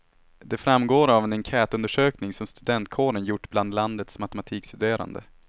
Det framgår av en enkätundersökning som studentkåren gjort bland landets matematikstuderande.